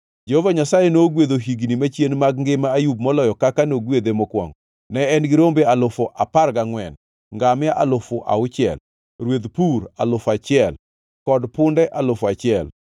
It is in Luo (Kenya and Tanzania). Jehova Nyasaye nogwedho higni machien mag ngima Ayub moloyo kaka nogwedhe mokwongo. Ne en gi rombe alufu apar gangʼwen, ngamia alufu auchiel, rweth pur alufu achiel, kod punde alufu achiel.